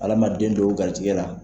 Ala ma den don u garisɛgɛ!